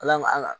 Ala ma an ka